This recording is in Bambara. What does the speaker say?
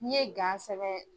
N'i ye sɛbɛ.